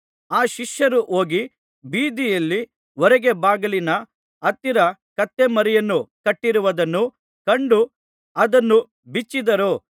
ಆ ಶಿಷ್ಯರು ಹೋಗಿ ಬೀದಿಯಲ್ಲಿ ಹೊರಗೆ ಬಾಗಿಲಿನ ಹತ್ತಿರ ಕತ್ತೆಮರಿಯನ್ನು ಕಟ್ಟಿರುವುದನ್ನು ಕಂಡು ಅದನ್ನು ಬಿಚ್ಚಿದರು